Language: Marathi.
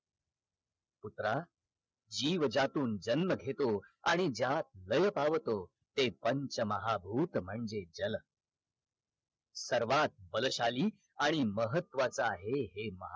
पुत्रा जीव ज्यातून जन्म घेतो आणि ज्यात लय पावतो ते पंच महाभूत म्हणजे जल सर्वात बलशाली आणि महत्वाच आहे हे